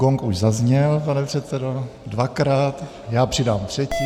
Gong už zazněl, pane předsedo, dvakrát, já přidám třetí.